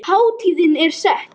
Hátíðin er sett.